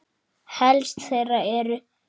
Helst þeirra eru